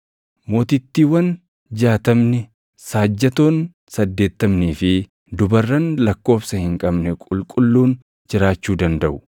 Mootittiiwwan jaatamni, //saajjatoon saddeettamnii fi dubarran lakkoobsa hin qabne qulqulluun // jiraachuu dandaʼu;